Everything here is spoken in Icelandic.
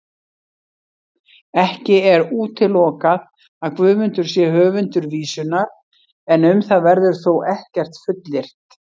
Ekki er útilokað að Guðmundur sé höfundur vísunnar, en um það verður þó ekkert fullyrt.